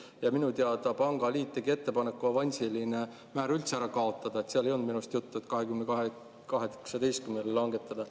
Ja minu teada pangaliit tegi ettepaneku avansiline määr üldse ära kaotada, seal ei olnud minu arust juttu, et 22%-lt 18%-le langetada.